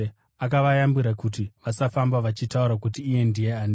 Akavayambira kuti vasafamba vachitaura kuti iye ndiye ani.